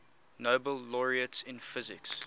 nobel laureates in physics